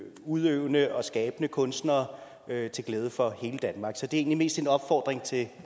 udøvende og skabende kunstnere til glæde for hele danmark så det er egentlig mest en opfordring til